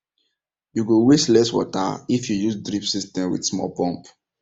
you go waste less water if you use drip system with small pump